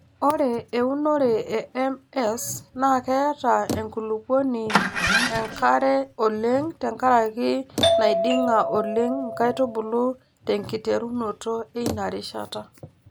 Ore eunore e MS naa keeta enkulupuoni enkare oleng tenkaraki naiding'a oleng nkaitubulu tenkiterunoto eina rishata.